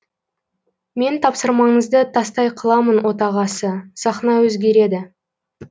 мен тапсырмаңызды тастай қыламын отағасы сахна өзгереді